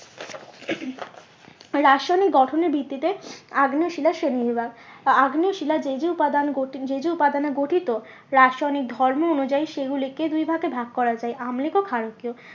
রাসায়নিক গঠনের ভিত্তিতে আগ্নেয় শিলার শ্রেণী বিভাগ। আগ্নেয় শিলা যেই যেই উপাদান যেই যেই উপাদানে গঠিত রাসায়নিক ধর্ম অনুযায়ী সেগুলিকে দুই ভাগে ভাগ করা যায় আম্লিক ও ক্ষারকীয়